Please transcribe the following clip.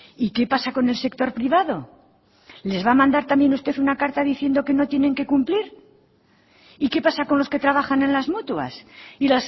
y qué pasa con el sector privado les va a mandar también usted una carta diciendo que no tienen que cumplir y qué pasa con los que trabajan en las mutuas y